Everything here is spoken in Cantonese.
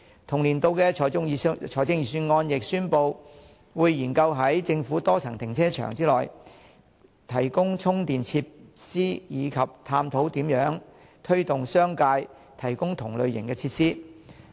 同年度的財政預算案亦宣布，會研究在政府多層停車場內，提供充電設施及探討如何推動商界提供同類設施。